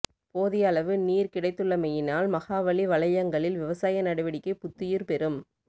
போதியளவு நீர் கிடைத்துள்ளமையினால் மகாவலி வலயங்களில் விவசாய நடவடிக்கை புத்துயிர் பெறும்